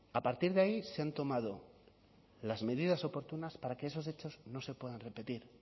a partir de ahí se han tomado las medidas oportunas para que esos hechos no se puedan repetir